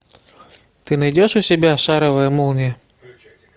ты найдешь у себя шаровая молния